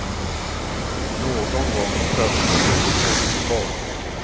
Någon gång tröttnade vi på fotboll.